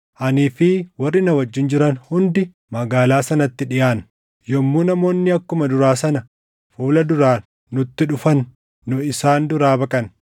Anii fi warri na wajjin jiran hundi magaalaa sanatti dhiʼaanna; yommuu namoonni akkuma duraa sana fuula duraan nutti dhufan nu isaan duraa baqanna.